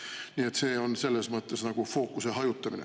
Nii et see on selles mõttes fookuse hajutamine.